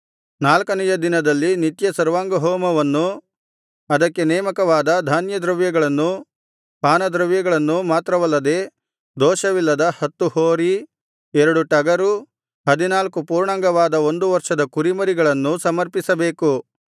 ನಾಲ್ಕನೆಯ ದಿನದಲ್ಲಿ ನಿತ್ಯ ಸರ್ವಾಂಗಹೋಮವನ್ನೂ ಅದಕ್ಕೆ ನೇಮಕವಾದ ಧಾನ್ಯದ್ರವ್ಯಗಳನ್ನೂ ಪಾನದ್ರವ್ಯಗಳನ್ನೂ ಮಾತ್ರವಲ್ಲದೆ ದೋಷವಿಲ್ಲದ ಹತ್ತು ಹೋರಿ ಎರಡು ಟಗರು ಹದಿನಾಲ್ಕು ಪೂರ್ಣಾಂಗವಾದ ಒಂದು ವರ್ಷದ ಕುರಿಮರಿಗಳನ್ನೂ ಸಮರ್ಪಿಸಬೇಕು